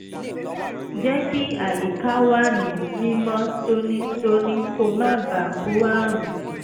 jẹ́ kí àyíká wà ní mímọ́ tónítóní kó má bàa kó àrùn